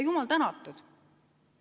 Jumal tänatud!